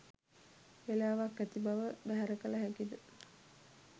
වේලාවක් ඇති බව බැහැර කල හැකිද?